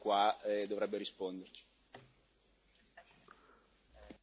Non è il caso di chiederlo al Commissario, visto che è qua e dovrebbe risponderci?